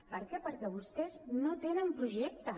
per què perquè vostès no tenen projecte